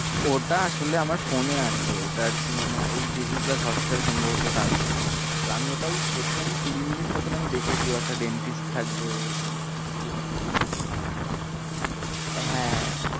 ওটা আসলে আমার phone এ আছে, ওটা আর কি মানে ওই ডিসনি প্লাস হটস্টারে সম্ভবত ওটা আছে তো আমি ওটা ওই প্রথম কুড়ি মিনিট মতন আমি দেখেছি, ও একটা dentist থাকবে, এরকম কিছু কিছু হ্যাঁ।